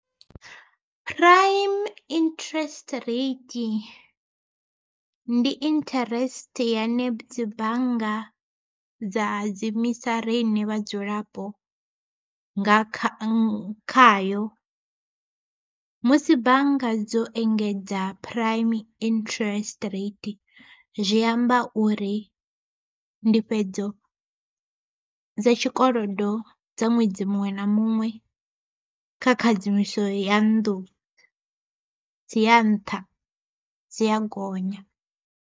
Prime interest rate, ndi interest yane dzi bannga dza dzi riṋe vhadzulapo nga kha khayo. Musi bannga dzo engedza prime interest rate zwi amba uri ndifhedzo dza tshikolodo dza ṅwedzi muṅwe na muṅwe, kha khadzimiso ya nnḓu dzi ya nṱha dzi a gonya.